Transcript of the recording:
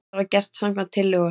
Þetta var gert samkvæmt tillögu